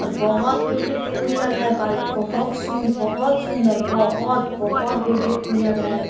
और बहोत beautiful लग रहा है बाइक बहोत सुंदर बहोत सुंदर बहोत बहोत ब्यूटी फूल लग रहा है बाइक --